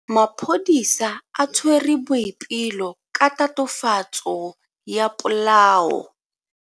Maphodisa a tshwere Boipelo ka tatofatso ya polao.